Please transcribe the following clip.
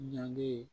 Ɲange